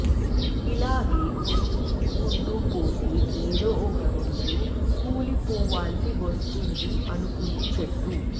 ఇలాగే కొరికించుకుంటూ పోతే ఏదో ఒక రోజు కూలిపోవాల్సి వస్తుంది అనుకుంది చెట్టు